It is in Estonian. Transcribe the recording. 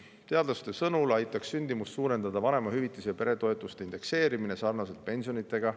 Teadlaste sõnul aitaks sündimust suurendada vanemahüvitise ja peretoetuste indekseerimine sarnaselt pensionidega.